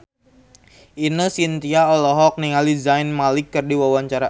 Ine Shintya olohok ningali Zayn Malik keur diwawancara